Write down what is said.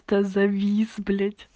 завис